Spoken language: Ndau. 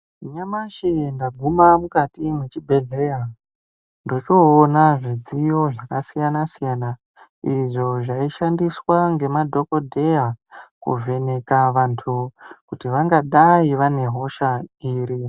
Nyamashi ndaguma mukati mwechibhedhlera ndochoona zvidziyo zvakasiyana siyana izvo zvaishandiswa ngemadhokodheya kuvheneka vantu kuti vangadai vane hosha iri.